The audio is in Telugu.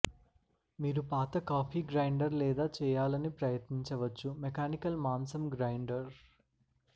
మీరు పాత కాఫీ గ్రైండర్ లేదా చేయాలని ప్రయత్నించవచ్చు మెకానికల్ మాంసం గ్రైండర్